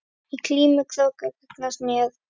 Í glímu krókur gagnast mér.